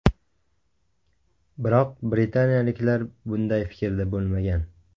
Biroq britaniyaliklar bunday fikrda bo‘lmagan.